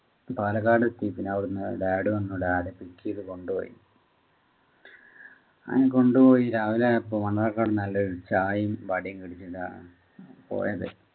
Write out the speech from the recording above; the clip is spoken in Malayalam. പാലക്കാട് station dad വന്നു dad pick ചെയ്തു അങ്ങനെ കൊണ്ടുപോയി രാവിലെ ആയപ്പോൾ മണ്ണാർക്കാട് ചായയും വടയും കഴിച്ചിട്ട് പോയത്